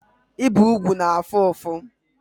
Ibi ugwu na-afu ufu